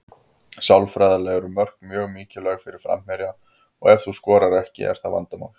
Sálfræðilega eru mörk mjög mikilvæg fyrir framherja og ef þú skorar ekki er það vandamál.